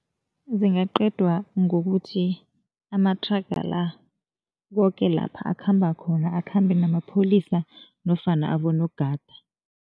Zingaqedwa ngokuthi amathraga la, koke lapha akhamba khona, akhambe namapholisa nofana abonogada.